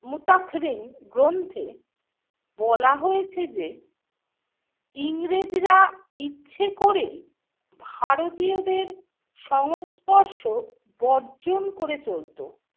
মুতাখরিন গ্রন্থে বলা হয়েছে যে ইংরেজরা ইচ্ছে করেই ভারতীয়দের সংস্পর্শ বর্জন করে চলত।